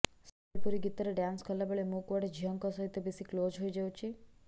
ସମ୍ବଲପୁରୀ ଗୀତରେ ଡ୍ୟାନ୍ସ କଲାବେଳେ ମୁଁ କୁଆଡେ ଝିଅଙ୍କ ସହିତ ବେଶୀ କ୍ଲୋଜ ହେଇ ଯାଉଛି